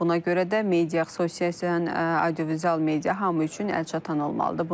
Buna görə də media asosiya audiovizual media hamı üçün əlçatan olmalıdır.